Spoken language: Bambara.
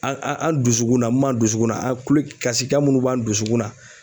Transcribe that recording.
An an an dusukun na mun m'an dusukun na kulo kasikan munnu b'an dusukun na.